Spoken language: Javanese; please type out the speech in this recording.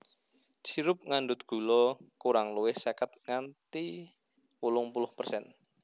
Sirup ngandhut gula kurang luwih seket nganti wolung puluh persen